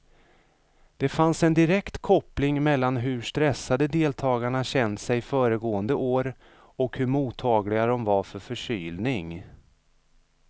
Det fanns en direkt koppling mellan hur stressade deltagarna känt sig föregående år och hur mottagliga de var för förkylning.